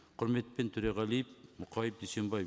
құрметпен төреғалиев мұқаев дүйсенбаев